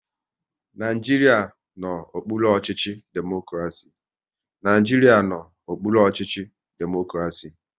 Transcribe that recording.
Naijiria n'okpuru ọchịchị democraci